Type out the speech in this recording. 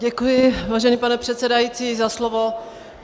Děkuji, vážený pane předsedající, za slovo.